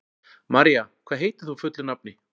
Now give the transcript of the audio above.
María, hvað heitir þú fullu nafni?